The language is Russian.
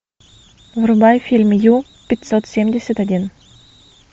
врубай фильм ю пятьсот семьдесят один